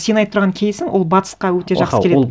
сен айтып тұрған кейсің ол батысқа өте жақсы келеді